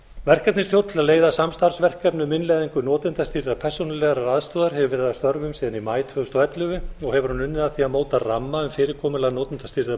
verkefnisstjórn til að leiða samstarfsverkefni um innleiðingu notendastýrðrar persónulegrar aðstoðar hefur verið að störfum síðan í maí tvö þúsund og ellefu og hefur hún unnið að því að móta ramma um fyrirkomulag notendastýrðrar